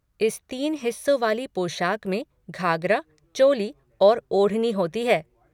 इस तीन हिस्सों वाली पोशाक में घागरा, चोली और ओढ़नी होती है।